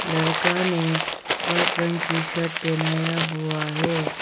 लड़का ने वाइट रंग की शर्ट पहनाया हुआ है।